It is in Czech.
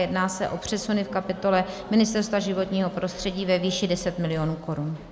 Jedná se o přesuny v kapitole Ministerstva životního prostředí ve výši 10 mil. korun.